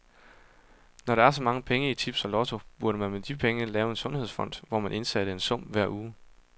Når der er så mange penge i tips og lotto, burde man med de penge lave en sundhedsfond, hvor man indsatte en sum hver uge.